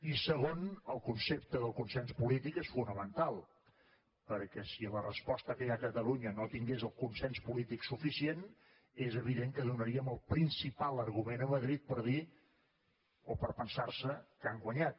i segon el concepte del consens polític és fonamental perquè si la resposta que hi ha a catalunya no tingués el consens polític suficient és evident que donaríem el principal argument a madrid per dir o per pensarse que han guanyat